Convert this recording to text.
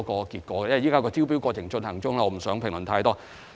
不過，由於招標過程現正進行中，我不便評論太多。